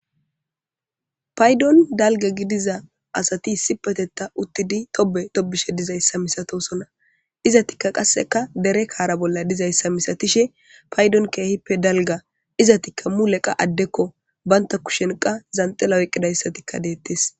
paydon dalga gidiza asati sipetetta uttidi tobe tobishe dizayssa misatosona izatikka qasseka dere kaara bolla dizayssa misatishe paydon keehippe dalga izatikka muleqa addekko baynta kushenqa zanxela oqqidayssatikka deettes